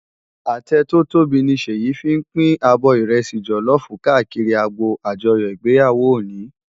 Atẹ tò tóbi ni Seyi fin pin ábò ìrẹsì jòlòfú kàákìrí ágbó ájòyò igbéyáwó óni